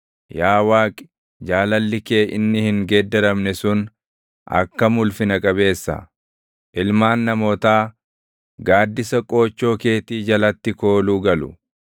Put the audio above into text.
Yaa Waaqi, jaalalli kee inni hin geeddaramne sun akkam ulfina qabeessa! Ilmaan namootaa, gaaddisa qoochoo keetii jalatti kooluu galu.